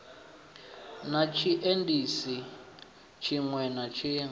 na tshiendisi tshiṋwe na tshiṋwe